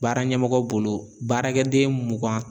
Baara ɲɛmɔgɔ bolo baarakɛden mugan